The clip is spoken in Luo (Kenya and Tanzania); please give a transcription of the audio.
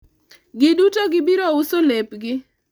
giduto gibiro uso lepgi